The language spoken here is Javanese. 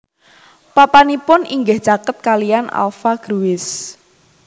Papanipun inggih caket kaliyan alpha Gruis